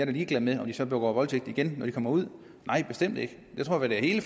er ligeglad med om de så begår voldtægt igen når de kommer ud nej bestemt ikke jeg tror at hele